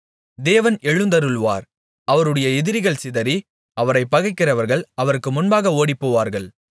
தேவன் எழுந்தருளுவார் அவருடைய எதிரிகள் சிதறி அவரைப் பகைக்கிறவர்கள் அவருக்கு முன்பாக ஓடிப்போவார்கள்